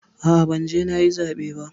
A'a, ban je nayi zaɓe ba.